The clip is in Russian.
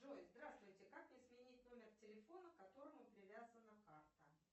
джой здравствуйте как мне сменить номер телефона к которому привязана карта